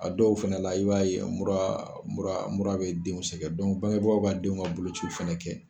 A dɔw fɛnɛ la i b'a ye mura mura bɛ denw sɛgɛn bangebagaw ka denw ka boloci fɛnɛ kɛ.